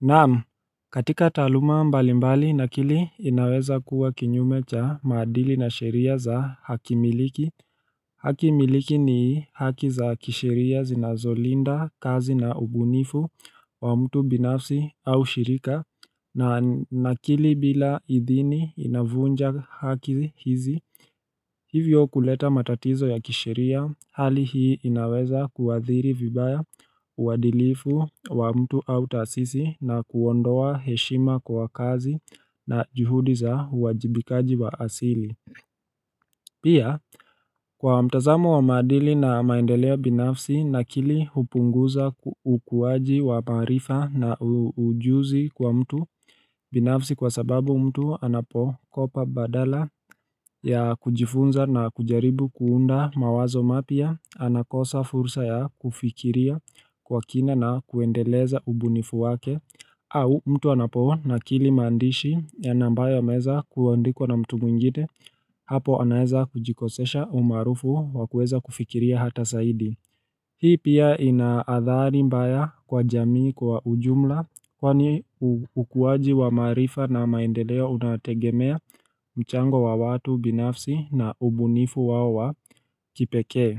Naam katika taaluma mbali mbali na kili inaweza kuwa kinyume cha maadili na sheria za hakimiliki haki miliki ni haki za kisheria zinazolinda kazi na ubunifu wa mtu binafsi au shirika na akili bila idhini inavunja haki hizi Hivyo kuleta matatizo ya kisheria hali hii inaweza kuadhiri vibaya uwadilifu wa mtu au taasisi na kuondoa heshima kwa kazi na juhudi za uwajibikaji wa asili Pia kwa mtazamo wa maadili na maendelea binafsi na kili hupunguza ukuwaji wa maarifa na ujuzi kwa mtu binafsi kwa sababu mtu anapokopa badala ya kujifunza na kujaribu kuunda mawazo mapya anakosa fursa ya kufikiria kwa kina na kuendeleza ubunifu wake au mtu anapo nakili maandishi na ambayo yameeza kuandikwa na mtu mwingite hapo anaeza kujikosesha umaarufu wa kueza kufikiria hata saidi Hii pia ina adhari mbaya kwa jamii kwa ujumla kwani ukuwaji wa maarifa na maendeleo unategemea mchango wa watu binafsi na ubunifu wao wa kipekee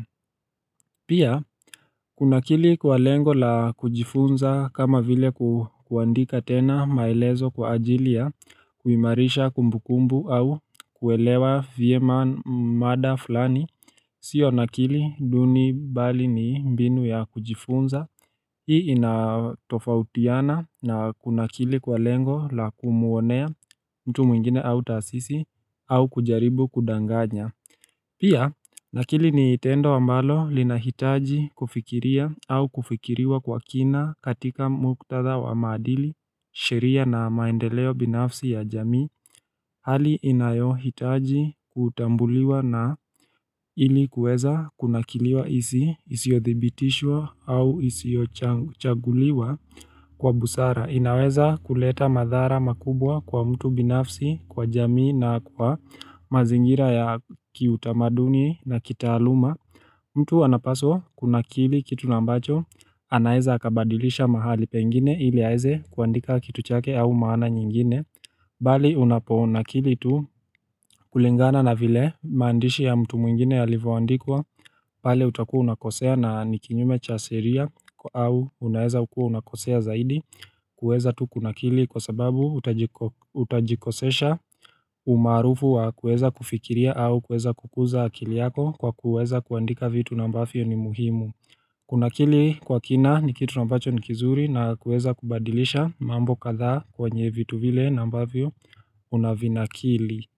Pia, kunakili kwa lengo la kujifunza kama vile kuandika tena maelezo kwa ajili ya kuimarisha kumbukumbu au kuelewa vyema mada fulani. Sio nakili duni bali ni mbinu ya kujifunza. Hii inatofautiana na kunakili kwa lengo la kumuonea mtu mwingine au taasisi au kujaribu kudanganya. Pia, nakili ni tendo ambalo linahitaji kufikiria au kufikiriwa kwa kina katika muktatha wa maadili, sheria na maendeleo binafsi ya jamii, hali inayohitaji kutambuliwa na ili kuweza kunakiliwa isiyothibitishwa au isiyochaguliwa kwa busara. Inaweza kuleta madhara makubwa kwa mtu binafsi, kwa jamii na kwa mazingira ya kiutamaduni na kitaaluma mtu anapaswa kunakili kitu na ambacho, anaeza akabadilisha mahali pengine ili aeze kuandika kitu chake au maana nyingine Bali unaponakili tu kulingana na vile mandishi ya mtu mwingine yalivyoandikwa pale utakua unakosea na ni kinyume cha sheria au unaeza kua unakosea zaidi kueza tu kunakili kwa sababu utajikosesha umaarufu wa kueza kufikiria au kueza kukuza akili yako kwa kueza kuandika vitu na ambavyo ni muhimu Kunakili kwa kina ni kitu na ambacho ni kizuri na kueza kubadilisha mambo katha kwenye vitu vile na ambavyo unavinakili.